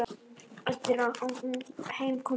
Eftir að heim kom stóðu